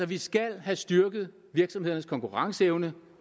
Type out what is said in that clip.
vi skal altså have styrket virksomhedernes konkurrenceevne